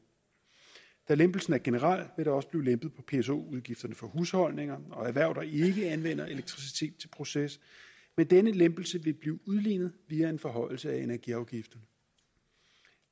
da lempelsen er generel vil der også blive lempet på pso udgifterne for husholdninger og erhverv der ikke anvender elektricitet proces men denne lempelse vil blive udlignet via en forhøjelse af energiafgifter